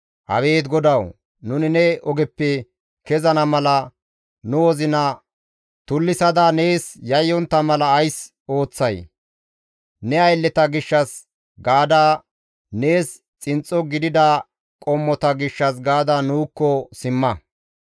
Abeet GODAWU, nuni ne ogeppe kezana mala, nu wozina tullisada nees yayyontta mala ays ooththay? Ne aylleta gishshas gaada, nees xinxxo gidida qommota gishshas gaada nuukko simma.